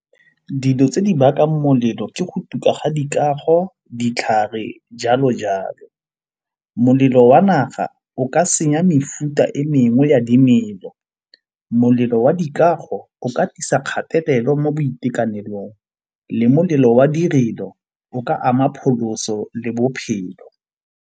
Dilo tse di bakang molelo ke go tuku ga dikago, ditlhare jalo jalo. Molelo wa naga o ka senya mefuta e mengwe ya dimelo. Molelo wa dikago o ka tlisa kgatelelo mo boitekanelong le molelo wa direlo o ka ama phaloso le bophelo.